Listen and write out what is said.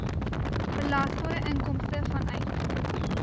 belasbare inkomste vanuit